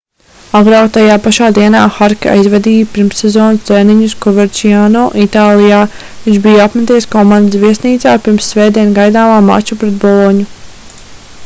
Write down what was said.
agrāk tajā pašā dienā harke aizvadīja pirmssezonas treniņus koverčiano itālijā viņš bija apmeties komandas viesnīcā pirms svētdien gaidāmā mača pret boloņu